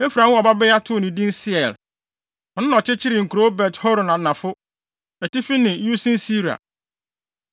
Efraim woo ɔbabea too no din Seer. Ɔno na ɔkyekyeree nkurow Bet-Horon Anafo, Atifi ne Usen-Seera.